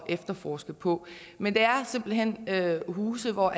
efterforske på men det er simpelt hen huse hvor